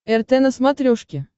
рт на смотрешке